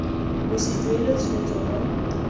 bo se duelwe tshwetso mo